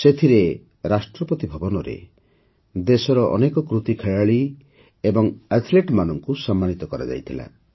ସେଥିରେ ରାଷ୍ଟ୍ରପତି ଭବନରେ ଦେଶର ଅନେକ କୃତି ଖେଳାଳୀ ଏବଂ ଆଥଲେଟ୍ମାନଙ୍କୁ ସମ୍ମାନିତ କରାଯାଇଥିଲା